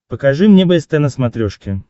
покажи мне бст на смотрешке